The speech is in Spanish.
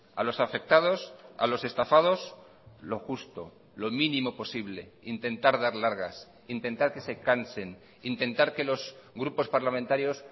a los afectados a los estafados lo justo lo mínimo posible intentar dar largas intentar que se cansen intentar que los grupos parlamentarios